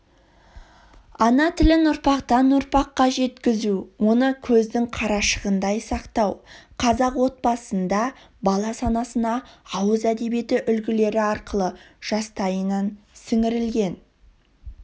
ана тілін ұрпақтан-ұрпаққа жеткізу оны көздің қарашығындай сақтау қазақ отбасында бала санасына ауыз әдебиеті үлгілері арқылы жастайынан сіңірілген